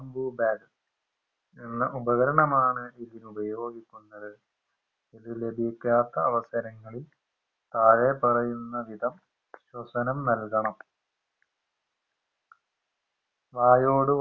bag എന്ന ഉപകരണമാണ് ഇതിനുപയോഗിക്കുന്നത് ഇത് ലഭിക്കാത്ത അവസരങ്ങളിൽ താഴെ പറയുന്ന വിധം ശ്വസനം നൽകണം വായോട്